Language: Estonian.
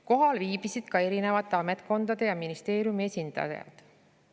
Kohal viibisid ka eri ametkondade ja ministeeriumi esindajad.